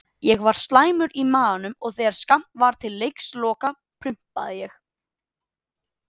Ég var slæmur í maganum og þegar skammt var til leiksloka prumpaði ég.